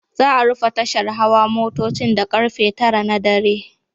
Za'a rufe tashar hawa motocin da karfe 9 na dare.